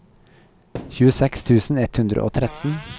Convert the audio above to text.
tjueseks tusen ett hundre og tretten